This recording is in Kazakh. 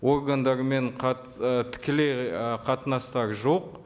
органдарымен ы тікелей ы қатынастар жоқ